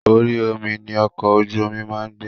Orí omi ni ọkọ̀ ojú máa ń gbà.